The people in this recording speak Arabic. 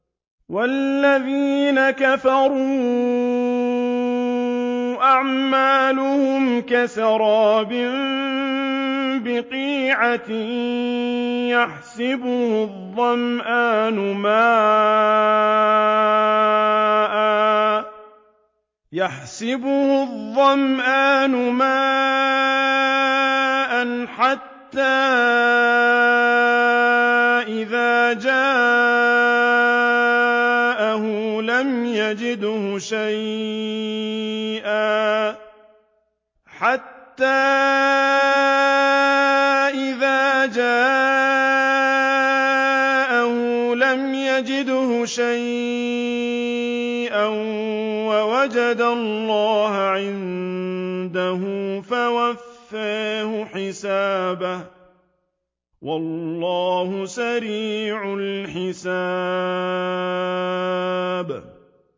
وَالَّذِينَ كَفَرُوا أَعْمَالُهُمْ كَسَرَابٍ بِقِيعَةٍ يَحْسَبُهُ الظَّمْآنُ مَاءً حَتَّىٰ إِذَا جَاءَهُ لَمْ يَجِدْهُ شَيْئًا وَوَجَدَ اللَّهَ عِندَهُ فَوَفَّاهُ حِسَابَهُ ۗ وَاللَّهُ سَرِيعُ الْحِسَابِ